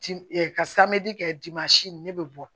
Ti ɛ ka kɛ ne bɛ bɔ